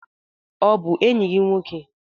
Ọ bụ enyi gị nwoke?